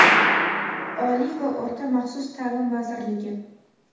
Oliy va o‘rta maxsus taʼlim vazirligi.